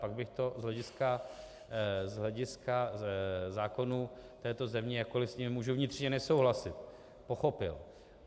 Pak bych to z hlediska zákonů této země, jakkoliv s nimi můžu vnitřně nesouhlasit, pochopil.